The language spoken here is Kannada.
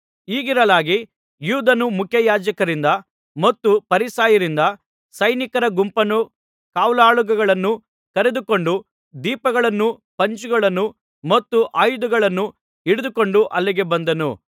ಹೀಗಿರಲಾಗಿ ಯೂದನು ಮುಖ್ಯಯಾಜಕರಿಂದ ಮತ್ತು ಫರಿಸಾಯರಿಂದ ಸೈನಿಕರ ಗುಂಪನ್ನೂ ಕಾವಲಾಳುಗಳನ್ನೂ ಕರೆದುಕೊಂಡು ದೀಪಗಳನ್ನೂ ಪಂಜುಗಳನ್ನೂ ಮತ್ತು ಆಯುಧಗಳನ್ನೂ ಹಿಡಿದುಕೊಂಡು ಅಲ್ಲಿಗೆ ಬಂದನು